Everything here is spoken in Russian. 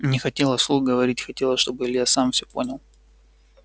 не хотела вслух говорить хотела чтобы илья сам всё понял